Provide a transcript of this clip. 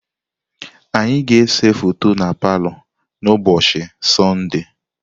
Anyị ga-ese foto na palọ n'ụbọchị Sọnde.